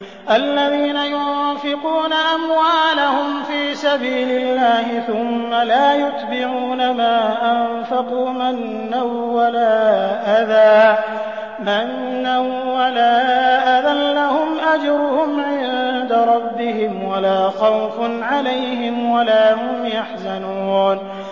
الَّذِينَ يُنفِقُونَ أَمْوَالَهُمْ فِي سَبِيلِ اللَّهِ ثُمَّ لَا يُتْبِعُونَ مَا أَنفَقُوا مَنًّا وَلَا أَذًى ۙ لَّهُمْ أَجْرُهُمْ عِندَ رَبِّهِمْ وَلَا خَوْفٌ عَلَيْهِمْ وَلَا هُمْ يَحْزَنُونَ